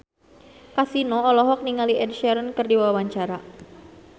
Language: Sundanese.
Kasino olohok ningali Ed Sheeran keur diwawancara